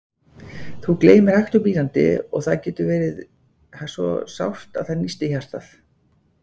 Þú gleymir hægt og bítandi, og það getur orðið svo sárt að það nístir hjartað.